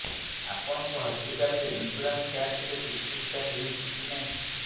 ଆପଣଙ୍କ ହସ୍ପିଟାଲ ରେ insurance card ଥିଲେ ଚିକିତ୍ସା ହେଉଛି କି ନାଇଁ